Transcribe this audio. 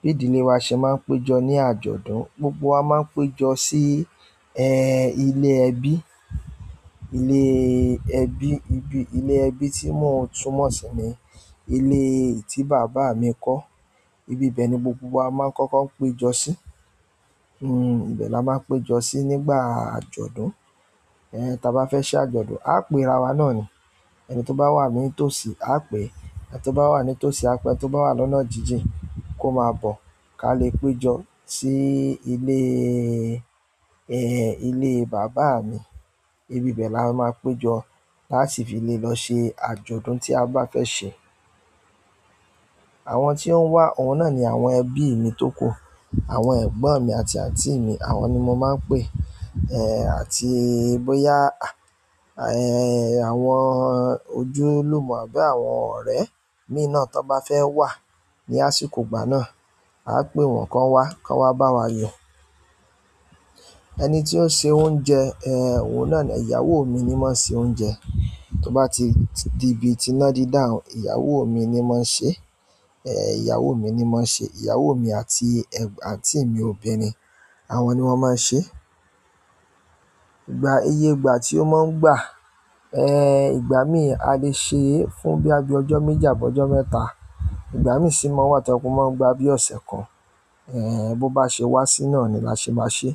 bí ìdílé wa ṣe máa ń péjọ ní àjọ̀dún, gbogbo wa máa ń péjọ sí, ẹ, ilé ẹbí, iléẹ bí, ibi, ilé ẹbí tí mò tún mọ̀ sí ni ilé tí bàbá mi kọ́. Ibibe ni gbogbo wa maa n koko pejo si. Hmm, ibe la máa ń péjọ sí nígbà àjọ̀dún. Ehn, tí a bá fẹ́ ṣe àjọ̀dún, á pè ra wa náà ni. Ẹni tó bá wà ní tòsí, á pè. Ẹni to ba wa ni tosi a pe ẹni to ba ni ọ̀nà jiji ko ma bo kalẹ̀ pejọ sile baba mi. Ibibe la maa pe jo ta ṣi fi le lọ́sẹ̀ àjọ̀dún ti a ba fe se. Àwọn tí ó ń ws, òun náà ni àwọn ẹbí mi tókù. Àwọn ẹ̀gbọ́n mi àti àǹtí mi àwọn ni mo máa ń pè, eh, àti bóyá, à, ẹẹ́, àwọn ojúlùmọ̀ àbí àwọn ọ̀rẹ́ mi náà tó bá fẹ́ wà ní àsìkò gbà náà, a pè wọ́n kó wá, kó wá bá wa yọ. Ẹni tí ó ń se oúnjẹ, ẹ, òun náà ni ìyàwó mi ni máa ń se oúnjẹ. Tí ó bá ti di ibi tí ná dí dà, ìyàwó mi ni máa ń ṣe. Ehn, ìyàwó mi ni máa ń ṣe. Ìyàwó mi àti ẹgb-àǹtí mi obìnrin, àwọn ni wọ́n máa ń ṣe. Ìgbà, iye ìgbà tí ó má ń gbà, ehn, ìgbà míì a lè ṣe fún bí i ọjọ́ méjì àbọ́ ọjọ́ mẹ́ta. Ìgbà mí sì máa wà tí a kò máa ń gba bíi ọ̀sẹ̀ kan. Ehn, bó bá ṣe wá sí iná ni lá ṣe máa ṣe.